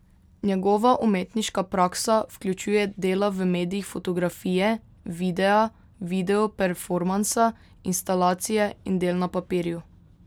Njegova umetniška praksa vključuje dela v medijih fotografije, videa, videoperformansa, instalacije in del na papirju.